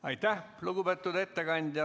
Aitäh, lugupeetud ettekandja!